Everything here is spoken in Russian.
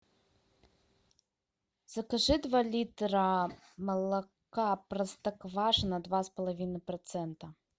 закажи два литра молока простоквашино два с половиной процента